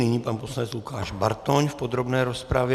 Nyní pan poslanec Lukáš Bartoň v podrobné rozpravě.